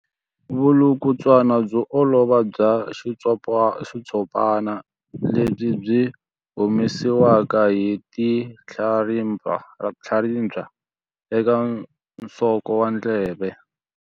Vulukulutswana byo olova bya xitshopana lebyi byi humesiwaka hi tinhlaribya eka nsoko wa ndleve.